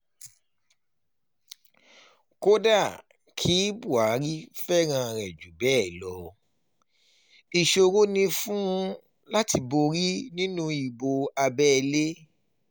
kódà kí um buhari fẹ́ràn rẹ̀ jù bẹ́ẹ̀ lọ ìṣòro um ni fún un láti borí nínú ìbò abẹ́lé